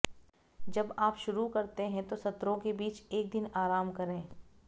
जब आप शुरू करते हैं तो सत्रों के बीच एक दिन आराम करें